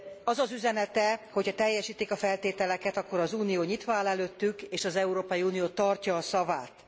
Az az üzenete, hogy ha teljesítik a feltételeket, akkor az Unió nyitva áll előttük és az Európai Unió tartja a szavát.